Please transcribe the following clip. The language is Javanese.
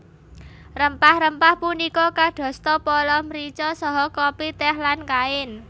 Rempah rempah punika kadosta pala mrica saha kopi tèh lan kain